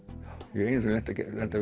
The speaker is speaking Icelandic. ég hef einu sinni lent á